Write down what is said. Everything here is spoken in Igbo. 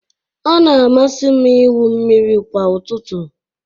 Ọ na-amasị m ịwụ mmiri kwa ụtụtụ